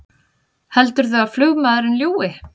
Heldurðu að flugmaðurinn ljúgi!